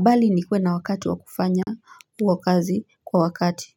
Bali nikuwe na wakati wa kufanya uo kazi kwa wakati.